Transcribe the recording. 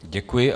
Děkuji.